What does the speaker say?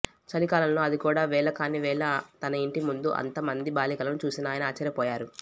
చలికాలంలో అది కూడా వేళ కాని వేళ తన ఇంటి ముందు అంత మంది బాలికలను చూసిన ఆయన ఆశ్చర్యపోయారు